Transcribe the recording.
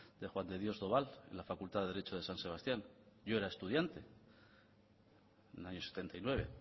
de juan de dios doval en la facultad de derecho de san sebastián yo era estudiante en el año setenta y nueve en